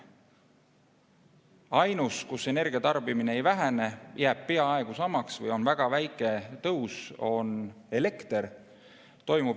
Ainus, kus energia tarbimine ei vähene, jääb peaaegu samaks või on väga väike tõus, on elekter.